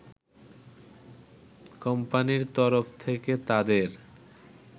কোম্পানির তরফ থেকে তাদের